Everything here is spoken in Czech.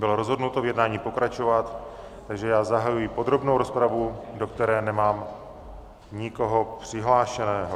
Bylo rozhodnuto v jednání pokračovat, takže já zahajuji podrobnou rozpravu, do které nemám nikoho přihlášeného.